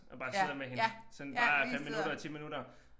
Og bare sidder med hende sådan bare 5 minutter 10 minutter